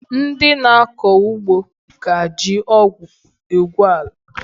Ndị na akọ ugbo ka ji ọgụ egwu ala